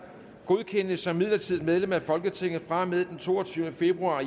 godkendes som midlertidigt medlem af folketinget fra og med den toogtyvende februar